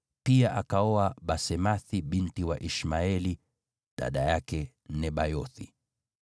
pia akaoa Basemathi binti wa Ishmaeli, dada yake Nebayothi.